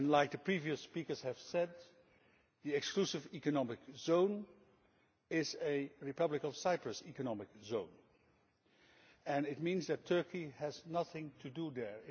As previous speakers have said, the exclusive economic zone is a Republic of Cyprus economic zone and it means that Turkey has nothing to do there.